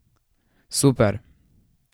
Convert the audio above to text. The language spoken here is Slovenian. Super!